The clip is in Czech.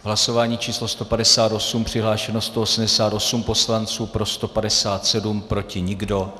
Hlasování číslo 158, přihlášeno 188 poslanců, pro 157, proti nikdo.